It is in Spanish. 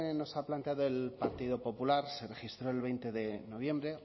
nos ha planteado el partido popular se registró el veinte de noviembre